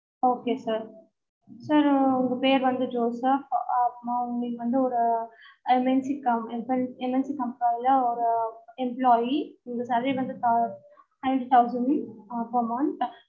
okay sir sir உங்க பேரு வந்து ஜோசப் ஆஹ் உங்களுக்கு வந்து ஒரு NSC company sorry MNC company ல ஒரு ஆஹ் employee உங்க salary வந்து seventeen thousand per month